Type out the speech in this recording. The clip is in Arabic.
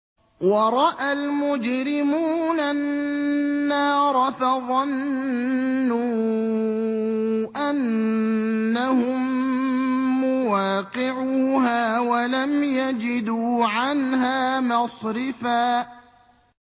وَرَأَى الْمُجْرِمُونَ النَّارَ فَظَنُّوا أَنَّهُم مُّوَاقِعُوهَا وَلَمْ يَجِدُوا عَنْهَا مَصْرِفًا